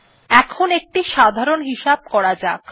এখন একটি সাধারণ হিসাব করা যাক